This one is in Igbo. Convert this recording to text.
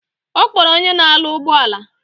Okporo onye na alu ugboala